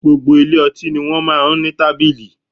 Gbogbo ilé ọtí ni wọ́n máa ń ní tábìlì